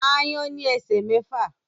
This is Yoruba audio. Aáyán ní esè mẹfa